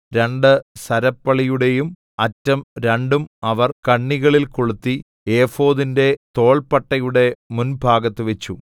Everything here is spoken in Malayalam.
രണ്ട് സരപ്പളിയുടെയും അറ്റം രണ്ടും അവർ കണ്ണികളിൽ കൊളുത്തി ഏഫോദിന്റെ തോൾപ്പട്ടയുടെ മുൻഭാഗത്തുവച്ചു